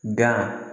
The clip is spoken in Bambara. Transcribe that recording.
Dan